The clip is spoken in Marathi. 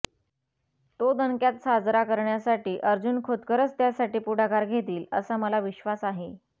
तो दणक्यात साजरा करण्यासाठी अर्जून खोतकरच त्यासाठी पुढाकार घेतील असा मला विश्वास आहे